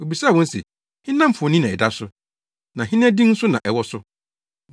Obisaa wɔn se, “Hena mfoni na ɛda so, na hena din nso na ɛwɔ so?”